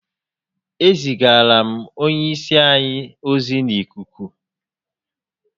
E zigarala m onye isi anyi ozi n'ikuku